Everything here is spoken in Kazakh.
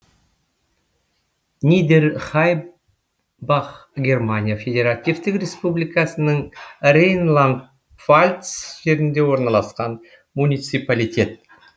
нидерхаймбах германия федеративтік республикасының рейнланд пфальц жерінде орналасқан муниципалитет